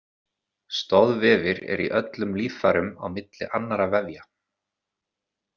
Stoðvefir eru í öllum líffærum á milli annarra vefja.